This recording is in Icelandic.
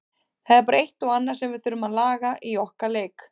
Það er bara eitt og annað sem við þurfum að laga í okkar leik.